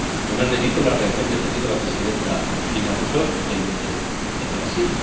Yo me remito a la reacción que ha tenido la Presidenta Dilma Rousseff, en Brasil.